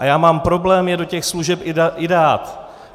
A já mám problém je do těch služeb i dát.